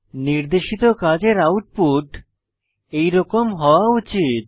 নির্দেশিত কাজের আউটপুট এরকম হওয়া উচিত